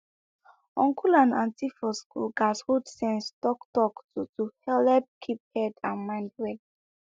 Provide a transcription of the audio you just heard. uncle and auntie for school gats hold sense talktalk to to helep keep head and mind well